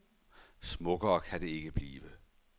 Smukkere kan det ikke blive.